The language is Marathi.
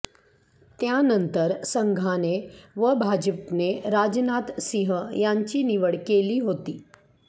त्यानंतर संघाने व भाजपने राजनाथ सिंह यांची निवड केली होती